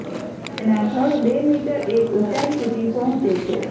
તેના થડ બે મીટર એક ઊંચાઇ સુધી પહોંચે છે